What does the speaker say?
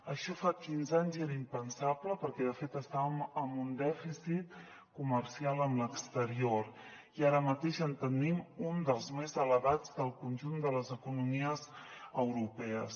això fa quinze anys era impensable perquè de fet estàvem amb un dèficit comercial amb l’exterior i ara mateix en tenim un dels més elevats del conjunt de les economies europees